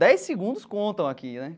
Dez segundos contam aqui, né?